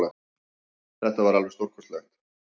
Þetta var alveg stórkostlegt